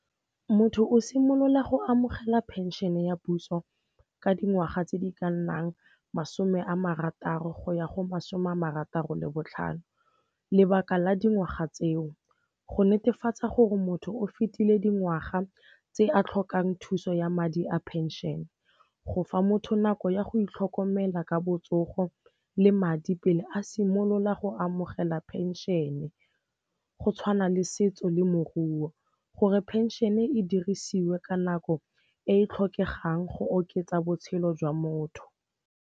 Motho o simolola go amogela phenšene ya puso ka dingwaga tse di ka nnang masome a marataro go ya go masome a marataro le botlhano. Lebaka la dingwaga tseo, go netefatsa gore motho o fetile dingwaga tse a tlhokang thuso ya madi a phenšene, go fa motho nako ya go itlhokomela ka botsogo le madi pele a simolola go amogela phenšene, go tshwana le setso le moruo. Gore phenšene e dirisiwe ka nako e e tlhokegang, go oketsa botshelo jwa motho.